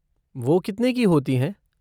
वो कितने की होती हैं?